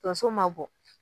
Tonso ma bɔ